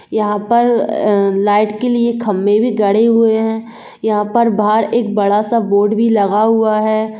यहा पर अ लाइट के लिए खंबे भी गरे हुए है यहा पर बार एक बड़ा सा बोर्ड भी लगा हुआ है।